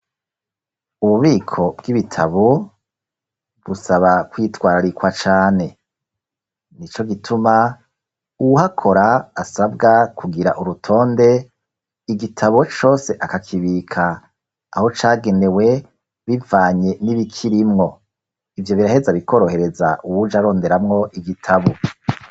Ububiko bw'ibitabo busaba kwitwararikwa cane nico gituma uwuhakora asabwa kugira urutonde igitabo cose akakibika aho cagenewe bivanye n'ibikirimwo, ivyo biraheza bikorohereza uwuje aronderamwo igitabo.